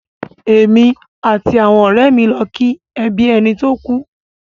Èmi àti àwọn ọ̀rẹ́ lọ ki ẹbí ẹni tó kú.